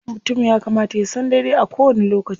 Mutum ya kamata ya san daidai a kowani lokaci.